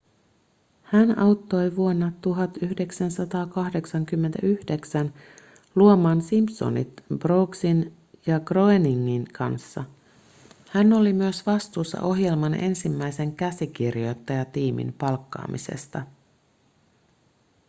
hän auttoi vuonna 1989 luomaan simpsonit brooksin ja groeningin kanssa hän oli myös vastuussa ohjelman ensimmäisen käsikirjoittajatiimin palkkaamisesta